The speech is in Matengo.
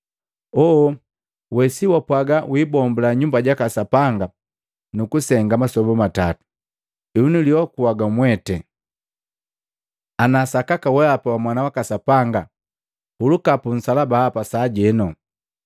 “Oo! We si wapwaga wiibombula nyumba jaka Sapanga nukusenga masoba gatatu? Henu, uliokua wa mweti! Ana sakaka weapa wa mwana waka Sapanga huluka pu nsalaba hapa sajenu!”